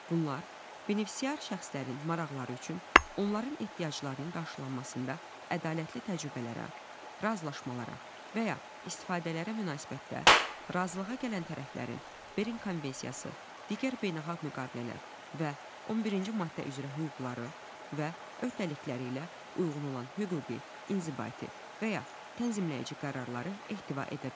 Bunlar benefisiar şəxslərin maraqları üçün onların ehtiyaclarının qarşılanmasında ədalətli təcrübələrə, razılaşmalara və ya istifadəyə münasibətdə, razılığa gələn tərəflərin Berin konvensiyası, digər beynəlxalq müqavilələr və 11-ci maddə üzrə hüquqları və öhdəlikləri ilə uyğun olan hüquqi, inzibati və ya tənzimləyici qərarları ehtiva edə bilər.